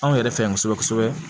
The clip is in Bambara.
Anw yɛrɛ fɛ yan kosɛbɛ kosɛbɛ